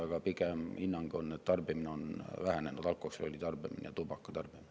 Aga pigem on hinnang, et alkoholi ja tubaka tarbimine on vähenenud.